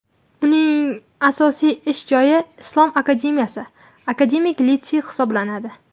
Uning asosiy ish joyi Islom akademiyasi akademik litseyi hisoblanadi.